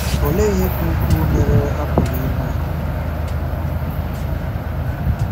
Olee ihe ka ukwuu mere a pụrụ inwe?